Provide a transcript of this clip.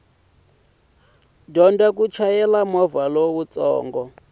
dyondza ku chayela movha lowutsongo